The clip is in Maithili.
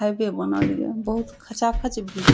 हाईवे बना लिया बहुत खचा-खच भीरी --